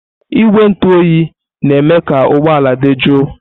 Igwe ntụ oyi na-eme ka ụgbọ ala dị jụụ.